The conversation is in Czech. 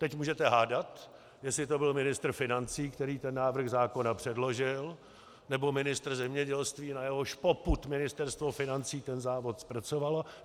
Teď můžete hádat, jestli to byl ministr financí, který ten návrh zákona předložil, nebo ministr zemědělství, na jehož popud Ministerstvo financí ten návrh zpracovalo.